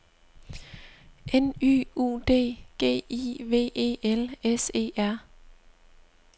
N Y U D G I V E L S E R